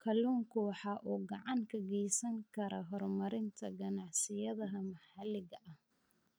Kalluunku waxa uu gacan ka geysan karaa horumarinta ganacsiyada maxaliga ah.